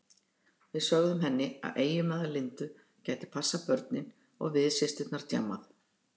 Við sögðum henni að eiginmaður Lindu gæti passað börnin og við systurnar djammað.